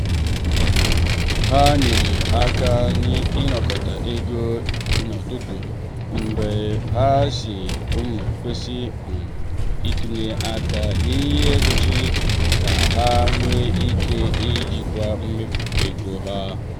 ha nyere aka n’ịnakọta ego mbụ ma ha si um kwụsị um itinye aka n’ihe sochiri ka ha nwee ike ijikwa mmefu ego ha.